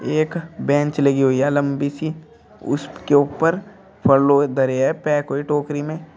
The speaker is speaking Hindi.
एक बेंच लगी हुई है लंबी सी उसके ऊपर फल धरे है पैक हुए टोकरी में।